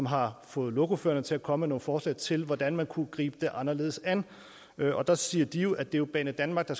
har fået lokoførerne til at komme med nogle forslag til hvordan man kunne gribe det anderledes an og der siger de at det er banedanmark der